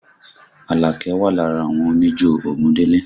Àlàkẹ́ wà lára àwọn oníjó Ògúndélé